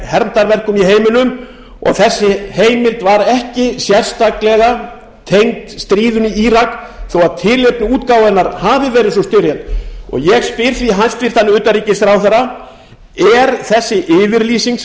hermdarverkum í heiminum og þessi heimild var ekki sérstaklega tengd stríðinu í írak þó að tilefni útgáfu hennar hafi verið sú styrjöld ég spyr því hæstvirtur utanríkisráðherra er þessi yfirlýsing